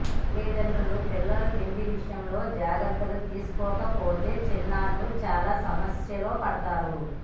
తల్లిదండ్రులు పిల్లల తిండి విషయంలో జాగ్రత్తలు తీసుకోకపోతే చిన్నారులు చాలా సమస్యల్లో పడతారు